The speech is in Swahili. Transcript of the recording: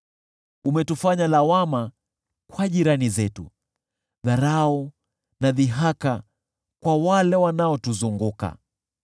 Umetufanya lawama kwa jirani zetu, dharau na dhihaka kwa wale wanaotuzunguka.